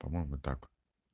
по-моему так